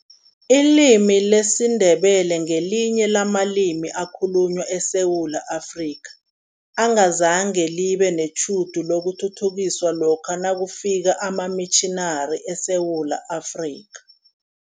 Ilimi lesiNdebele ngelinye lamalimi ekhalunywa eSewula Afrika, engazange libe netjhudu lokuthuthukiswa lokha nakufika amamitjhinari eSewula Afrika.